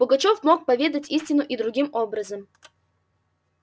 пугачёв мог поведать истину и другим образом